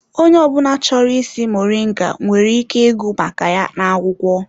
Onye ọ bụla chọrọ ịsị moringa nwere ike ịgụ maka ya n'akwụkwọ.